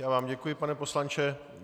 Já vám děkuji, pane poslanče.